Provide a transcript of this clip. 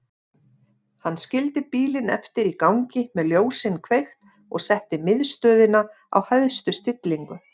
Hann skildi bílinn eftir í gangi með ljósin kveikt og setti miðstöðina á hæstu stillingu.